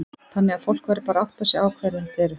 Þannig að fólk verður bara að átta sig á hverjir þetta eru?